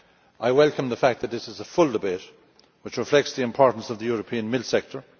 I welcome the fact that this is a full debate which reflects the importance of the European milk sector.